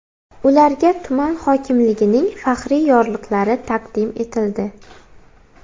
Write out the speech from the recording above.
Ularga tuman hokimligining faxriy yorliqlari taqdim etildi.